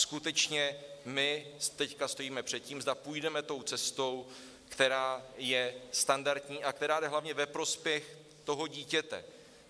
Skutečně my teď stojíme před tím, zda půjdeme tou cestou, která je standardní a která jde hlavně ve prospěch toho dítěte.